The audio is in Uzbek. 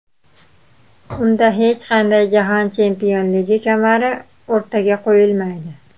Unda hech qanday jahon chempionligi kamari o‘rtaga qo‘yilmaydi.